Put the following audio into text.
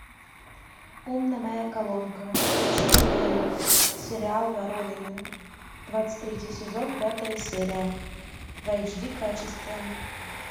умная моя колонка включи мне сериал воронины двадцать третий сезон пятая серия в эйч ди качестве